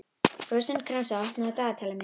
Rósinkransa, opnaðu dagatalið mitt.